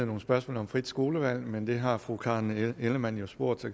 nogle spørgsmål om frit skolevalg men det har fru karen ellemann jo spurgt